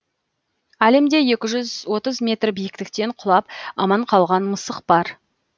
әлемде екі жүз отыз метр биіктіктен құлап аман қалған мысық бар